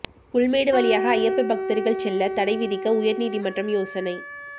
புல்மேடு வழியாக ஐயப்ப பக்தர்கள் செல்ல தடை விதிக்க உயர்நீதிமன்றம் யோசனை